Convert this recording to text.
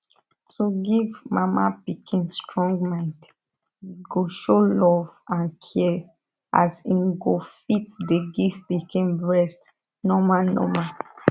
to give mama pikin strong mind e go show love and care as im go fit dey give pikin breast normal normal